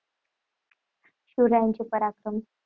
शिवरायांचे पराक्रम.